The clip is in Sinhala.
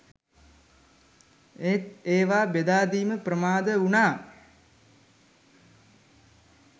ඒත් ඒවා බෙදා දීම ප්‍රමාද වුණා